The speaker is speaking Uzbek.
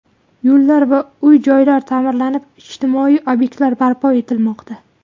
Yo‘llar va uy-joylar ta’mirlanib, ijtimoiy obyektlar barpo etilmoqda.